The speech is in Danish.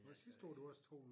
Var det sidste år du også tog en